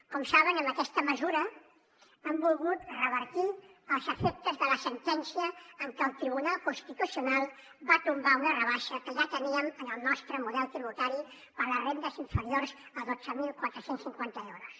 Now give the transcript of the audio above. com saben amb aquesta mesura hem volgut revertir els efectes de la sentència amb què el tribunal constitucional va tombar una rebaixa que ja teníem en el nostre model tributari per a les rendes inferiors a dotze mil quatre cents i cinquanta euros